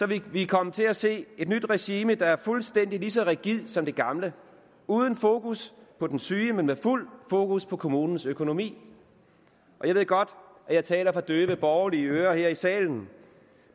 vi vil komme til at se et nyt regime der er fuldstændig lige så rigidt som det gamle uden fokus på den syge men med fuld fokus på kommunens økonomi jeg ved godt at jeg taler for døve borgerlige ører her i salen